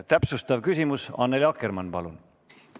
Täpsustav küsimus, Annely Akkermann, palun!